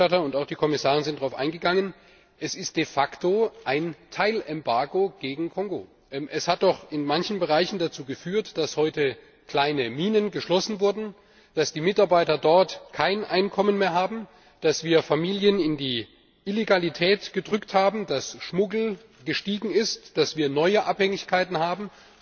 Der Berichterstatter und auch die Kommissarin sind darauf eingegangen Es ist de facto ein Teilembargo gegen Kongo. Es hat doch in manchen Bereichen dazu geführt, dass heute kleine Minen geschlossen wurden, dass die Mitarbeiter dort kein Einkommen mehr haben, dass wir Familien in die Illegalität getrieben haben, dass der Schmuggel gestiegen ist, dass wir neue Abhängigkeiten haben.